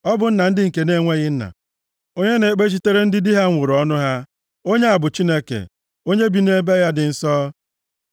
Ọ bụ nna ndị nke na-enweghị nna, onye na-ekpechitere ndị di ha nwụrụ anwụ ọnụ ha, onye a bụ Chineke, onye bi nʼebe ya dị nsọ.